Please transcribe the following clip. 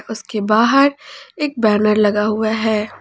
उसके बाहर एक बैनर लगा हुआ है।